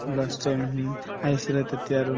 last time হুম আহিছিলে তেতিয়া আৰু